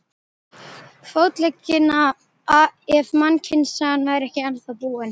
Fótleggina ef mannkynssagan væri ekki ennþá búin.